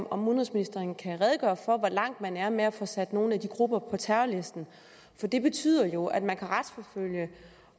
om udenrigsministeren kan redegøre for hvor langt man er med at få sat nogle af de grupper på terrorlisten det betyder jo at man kan retsforfølge